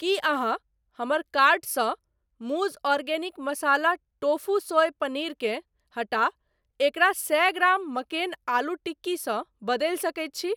की अहाँ हमर कार्ट सँ Mooz organic masala tofu soy paneer केँ हटा एकरा सए ग्राम मक्केन आलू टिक्की सँ बदलि सकैत छी ?